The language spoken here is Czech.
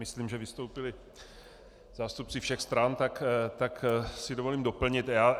Myslím, že vystoupili zástupci všech stran, tak si dovolím doplnit.